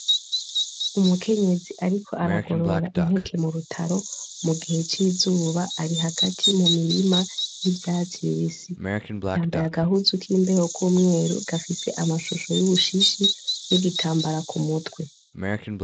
Umukekenyezi ariko aragorora impeke mu rutaro mu gihe c'izuba ari hagati mumurima w'ivyatsi bibisi yambaye agahuzu k'imbeho k'umweru gafise amashusho y'umushishi n'igitambara k'umutwe.